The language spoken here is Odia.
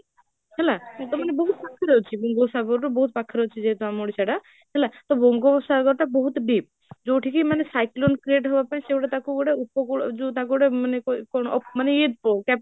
ହେଲା, ସେଟାବି ବହୁତ ପାଖରେ ଅଛି, ବଙ୍ଗ ସାଗରଠୁ ବହୁତ ପାଖରେ ଅଛି ଯେହେତୁ ଆମ ଓଡ଼ିଶାଟା, ତ ବଙ୍ଗ ସାଗରଟା ବହୁତ deep ଯୋଉଠିକି ମାନେ cyclone create ହେବା ପାଇଁ ସେଇଟା ତାକୁ ଗୋଟେ ଉପକୂଳ, ଯୋଉ ତାକୁ ଗୋଟେ ମାନେ କଣ ମାନେ